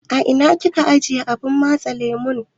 Ina kika ajiye abun matse lemu?